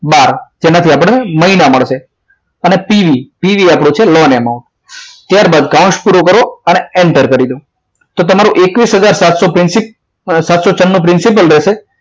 બાર તેમાંથી આપણને મહિના મળશે અને pv pv આપણો છેલ્લો અને amount ત્યારબાદ કૌંસ પૂરો કરો અને એન્ટર કરી દો તો તમારું એકવીસ હજાર સાતસો છન્નું principal રહેશે